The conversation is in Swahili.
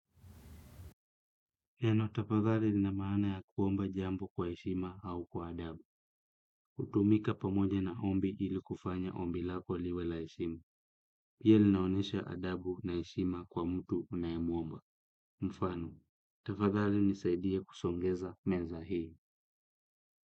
Neno tafadhali ni la maana ya kuomba jambo kwa heshima au kwa adabu hutumika pamoja ombi ili kufanya ombi lako liwe la heshima na pia linaonyesha adabu na heshima kwa mtu unayemuomba. Mfano, tafadhali nisaidia kusongeza meza hii.